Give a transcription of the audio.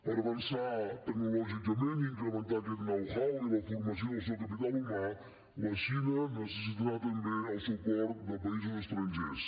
per avançar tecnològicament i incrementar aquest know how i la formació del seu capital humà la xina necessitarà també el suport de països estrangers